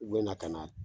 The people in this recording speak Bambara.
U bɛna ka na